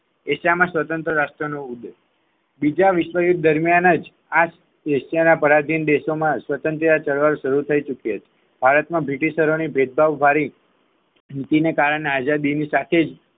એશિયામાં સ્વતંત્ર રાષ્ટ્ર નો ઉદય બીજા વિશ્વયુદ્ધ દરમિયાન જ એશિયાના પરાજિત દેશોમાં સ્વતંત્ર ચળવળ શરૂ થઈ ચૂકી હતી ભારતમાં બ્રિટિશ ચલોની ભેદભાવવાળી નીતિકારણે આઝાદીની સાથેજ